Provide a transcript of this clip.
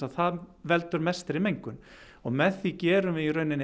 það veldur mestri mengun og með því gerum við